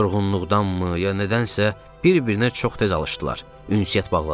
Yorğunluqdanmı, ya nədənsə bir-birinə çox tez alışdılar, ünsiyyət bağladılar.